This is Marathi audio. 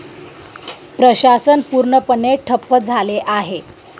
प्रशासन पूर्णपणे ठप्प झाले आहे.